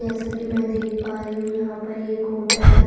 जैसा की मे देख पा रही हूँ यहाँ पर एक होटल है।